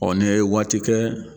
Ɔ n"i ye waati kɛ